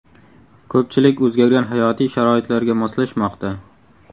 Ko‘pchilik o‘zgargan hayotiy sharoitlarga moslashmoqda.